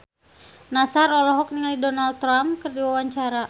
Nassar olohok ningali Donald Trump keur diwawancara